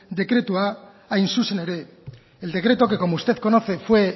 dekretua hain zuzen ere el decreto que como usted conoce fue